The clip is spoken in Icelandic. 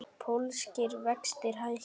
Pólskir vextir hækka